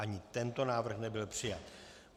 Ani tento návrh nebyl přijat.